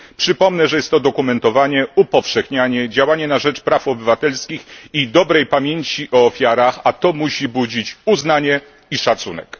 Przypomnę, że jest to dokumentowanie, upowszechnianie, działanie na rzecz praw obywatelskich i dobrej pamięci o ofiarach, a to musi budzić uznanie i szacunek.